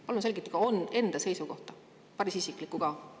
Palun selgitage enda seisukohta, päris isiklikku ka!